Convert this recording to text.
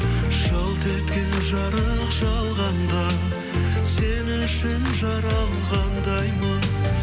жалт еткен жарық жалғанда сен үшін жаралғандаймын